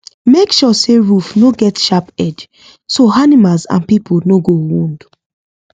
make sure say roof no get sharp edge so animals and people no go wound